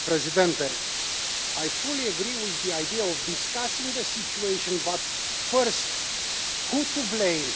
Mr President, I fully agree with the idea of discussing the situation, but first, who is to blame?